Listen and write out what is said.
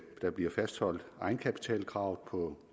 der bliver fastholdt et egenkapitalkrav på